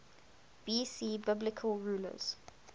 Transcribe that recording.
bc biblical rulers